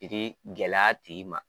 I k'i gɛlɛya a tigi ma.